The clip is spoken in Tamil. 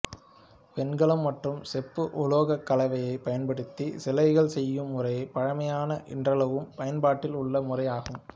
வெண்கலம் மற்றும் செப்பு உலோகக்கலவையைப் பயன்படுத்தி சிலைகள் செய்யும் முறை பழமையான இன்றளவும் பயன்பாட்டில் உள்ள முறை ஆகும்